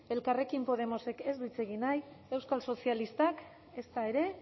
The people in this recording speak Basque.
elkarrekin podemosek ez du hitz egin nahi euskal sozialistak ezta ere